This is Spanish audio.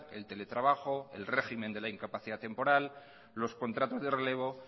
el teletrabajo el régimen de la incapacidad temporal los contratos de relevo